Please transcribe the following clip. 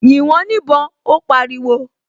"Yìn wọ́n níbọn", Ó pariwo